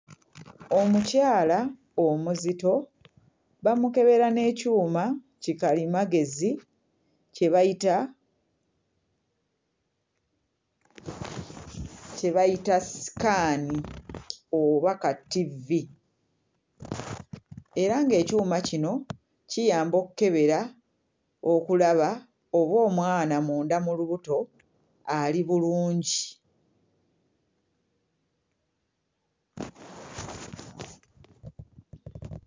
Omukyala omuzito bamukebera n'ekyuma kikalimagezi kye bayita kye bayita ssikaani oba kattivvi era ng'ekyuma kino kiyamba okkebera okulaba oba omwana munda mu lubuto ali bulungi.